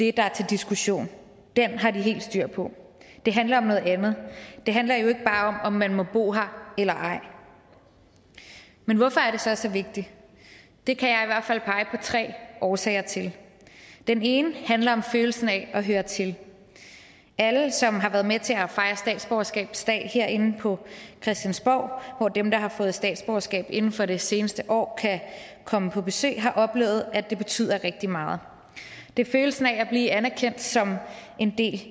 er til diskussion den har de helt styr på det handler om noget andet det handler jo ikke bare om man må bo her eller ej men hvorfor er det så så vigtigt det kan jeg i hvert fald pege på tre årsager til den ene handler om følelsen af at høre til alle som har været med til at fejre statsborgerskabsdag herinde på christiansborg hvor dem der har fået statsborgerskab inden for det seneste år kan komme på besøg har oplevet at det betyder rigtig meget det er følelsen af at blive anerkendt som en del